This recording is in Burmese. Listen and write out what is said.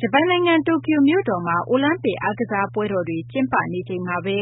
ဂျပန်နိုင်ငံ တိုကျို မြို့တော်မှာ အိုလံပစ် အားကစား ပွဲတော်တွေ ကျင်းပနေချိန်မှာဘဲ